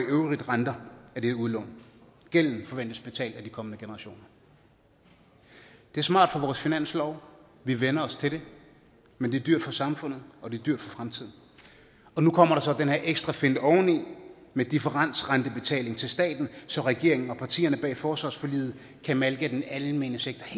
renter af det udlån gælden forventes betalt af de kommende generationer det er smart for vores finanslov vi vænner os til det men det er dyrt for samfundet og det er dyrt for fremtiden og nu kommer der så den her ekstra finte oveni med differencerentebetaling til staten så regeringen og partierne bag forsvarsforliget kan malke den almene sektor